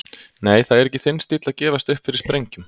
Nei, það er ekki þinn stíll að gefast upp fyrir sprengjum.